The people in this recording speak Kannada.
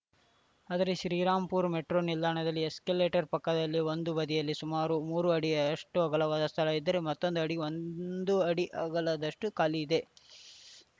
ಆದರೆ ಶ್ರೀರಾಮಪುರ ಮೆಟ್ರೋ ನಿಲ್ದಾಣದ ಎಸ್ಕಲೇಟರ್‌ ಪಕ್ಕದಲ್ಲಿ ಒಂದು ಬದಿಯಲ್ಲಿ ಸುಮಾರು ಮೂರು ಅಡಿಯಷ್ಟುಅಗಲವಾದ ಸ್ಥಳ ಇದ್ದರೆ ಮತ್ತೊಂದೆಡೆ ಒಂದು ಅಡಿ ಅಗಲದಷ್ಟುಖಾಲಿ ಇದೆ